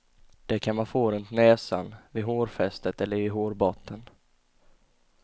Det kan man få runt näsan, vid hårfästet eller i hårbotten.